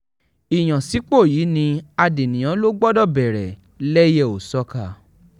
ìyànsípò yìí ni adènìyàn ló gbọdọ̀ bẹ̀rẹ̀ lẹ́yẹ-ò-sọkà